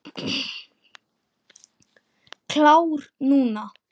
Klár núna.